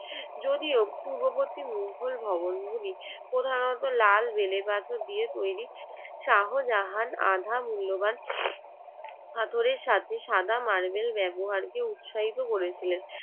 যদিও পূর্ববর্তী মুঘল ভবন গুলি প্রধানত লাল বেলে পাথর দিয়ে তৈরি শাহজাহান আধা মূল্যবান পাথরের সাথে সাদা মারবেল ব্যবহারকে উৎসাহিত করেছিলেন